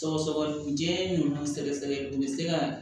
Sɔgɔsɔgɔnijɛ ninnu sɛgɛsɛgɛli u bɛ se ka